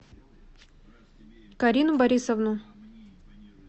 карину борисовну